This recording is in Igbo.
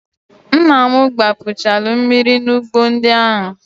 Nna m gbapuchalu mmiri n'ugbo ndị ahụ.